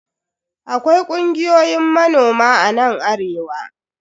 Akwai kungiyoyin manoma a nan arewa.